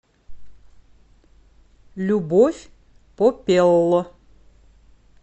любовь попелло